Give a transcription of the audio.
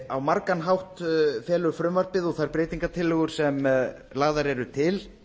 á margan hátt felur frumvarpið og þær breytingartillögur sem lagðar eru til